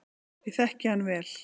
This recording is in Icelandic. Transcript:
Ég þekki hann vel.